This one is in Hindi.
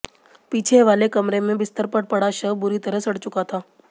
पीछे वाले कमरे में बिस्तर पर पड़ा शव बुरी तरह सड़ चुका था